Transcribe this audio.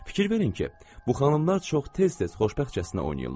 Fikir verin ki, bu xanımlar çox tez-tez xoşbəxtcəsinə oynayırlar.